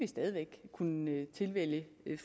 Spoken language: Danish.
stadig væk kunne tilvælge